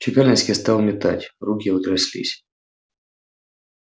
чекалинский стал метать руки его тряслись